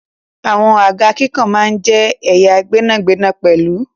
Àwọn àga kíkàn náà jẹ́ ẹ̀ya gbẹ́nàgbẹnà pẹ̀lú.